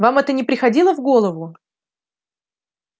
вам это не приходило в голову